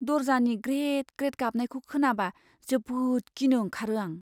दरजानि ग्रेद ग्रेद गाबनायखौ खोनाबा जोबोद गिनो ओंखारो आं।